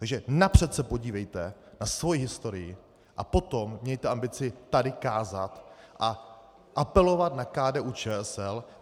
Takže napřed se podívejte na svoji historii, a potom mějte ambici tady kázat a apelovat na KDU-ČSL!